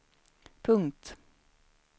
punkt